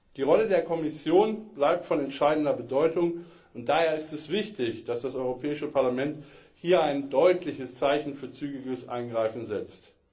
Die Rolle der Kommission bleibt von entscheidender Bedeutung, und daher ist es wichtig, dass das Europäische Parlament hier ein deutliches Zeichen für zügiges Eingreifen setzt.